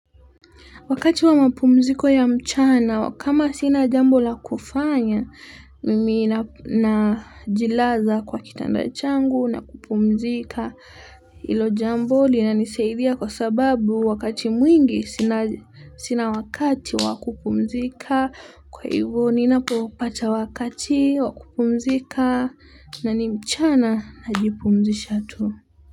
Wakati wa mapumziko ya mchana, kama sina jambo la kufanya, mimi najilaza kwa kitanda changu na kupumzika hilo jambo linanisaidia kwa sababu wakati mwingi sina wakati wa kupumzika. Kwa hivo ninapopata wakati wa kupumzika na ni mchana najipumzisha tu.